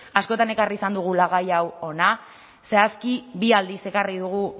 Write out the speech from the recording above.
askotan ekarri izan dugula gai hau hona zehazki bi aldiz ekarri dugu